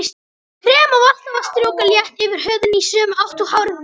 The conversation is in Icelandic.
Krem á alltaf að strjúka létt yfir húðina í sömu átt og hárið vex.